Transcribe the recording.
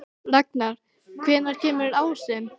Ragnar, hvenær kemur ásinn?